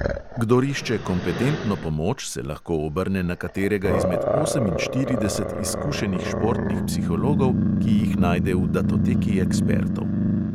Kdor išče kompetentno pomoč, se lahko obrne na katerega izmed oseminštirideset izkušenih športnih psihologov, ki jih najde v datoteki ekspertov.